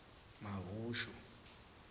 mahushu